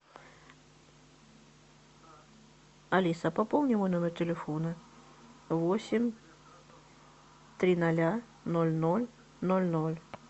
алиса пополни мой номер телефона восемь три ноля ноль ноль ноль ноль